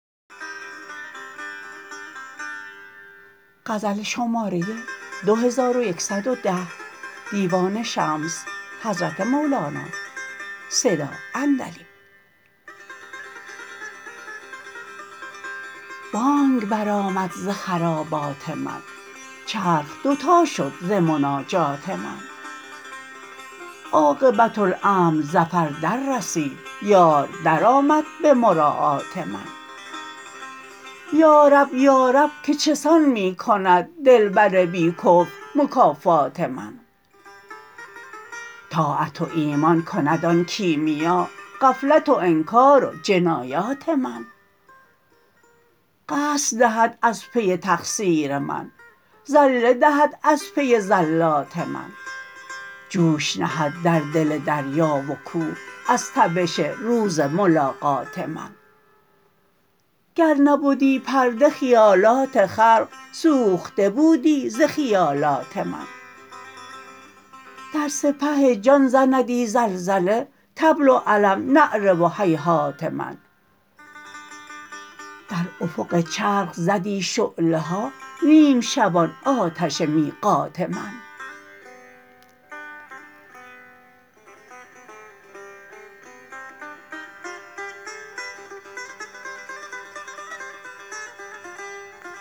بانگ برآمد ز خرابات من چرخ دوتا شد ز مناجات من عاقبت امر ظفر دررسید یار درآمد به مراعات من یا رب یا رب که چه سان می کند دلبر بی کفو مکافات من طاعت و ایمان کند آن کیمیا غفلت و انکار و جنایات من قصر دهد از پی تقصیر من زله دهد از پی زلات من جوش نهد در دل دریا و کوه از تبش روز ملاقات من گر نبدی پرده خیالات خلق سوخته بودی ز خیالات من در سپه جان زندی زلزله طبل و علم نعره و هیهات من در افق چرخ زدی شعله ها نیم شبان آتش میقات من